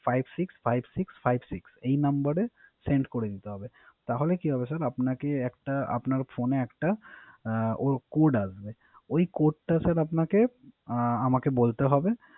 Five Six Five Six Five Six এর নাম্বারে sent করে দিতে হবে। তাহলে কি হবে স্যার আপনার ফোনে একটা Code আসবে ওই Code টা স্যার আপনাকে আমাকে বলতে হবে